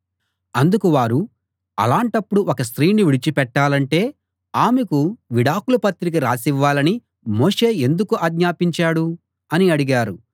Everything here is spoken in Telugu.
అందుకు వారు అలాటప్పుడు ఒక స్త్రీని విడిచిపెట్టాలంటే ఆమెకు విడాకుల పత్రిక రాసివ్వాలని మోషే ఎందుకు ఆజ్ఞాపించాడు అని అడిగారు